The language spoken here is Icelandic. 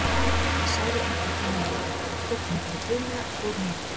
Ég sagði engum frá neinu, keypti mér bara flugmiða og fór norður.